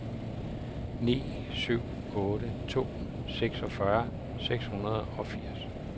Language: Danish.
ni syv otte to seksogfyrre seks hundrede og firs